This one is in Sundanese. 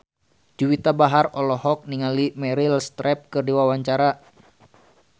Juwita Bahar olohok ningali Meryl Streep keur diwawancara